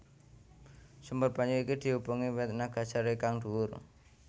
Sumber banyu iki diubengi wit nagasari kang dhuwur